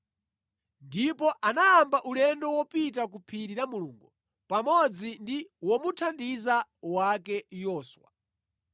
Ndipo anayamba ulendo wopita ku phiri la Mulungu pamodzi ndi womuthandiza wake Yoswa.